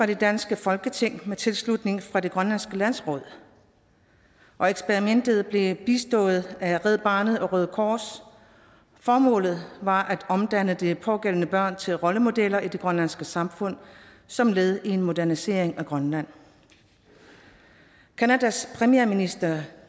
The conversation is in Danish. det danske folketing med tilslutning fra det grønlandske landsråd og eksperimentet blev bistået af red barnet og røde kors formålet var at omdanne de pågældende børn til rollemodeller i det grønlandske samfund som led i en modernisering af grønland canadas premierminister